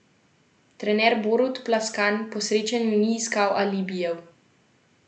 Trener Borut Plaskan po srečanju ni iskal alibijev.